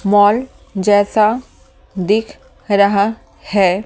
Mall जैसा दिख रहा है ।